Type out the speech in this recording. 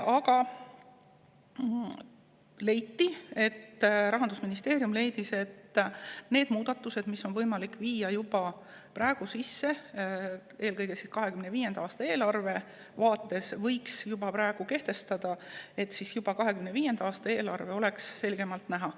Aga Rahandusministeerium leidis, et need muudatused, mida on võimalik teha juba praegu – eelkõige need, mis puudutavad 2025. aasta eelarvet –, võiks juba ära teha, sest siis oleks need juba 2025. aasta eelarves selgemalt näha.